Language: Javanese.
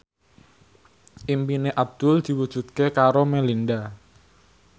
impine Abdul diwujudke karo Melinda